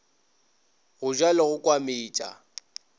go ja le go kwametša